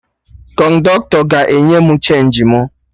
Kọndọktọ ga enye mụ chenji mụ